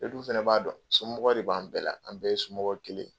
E du fɛnɛ b'a dɔn somɔgɔ de b'an bɛɛ la, an bɛɛ ye somɔgɔ kelen.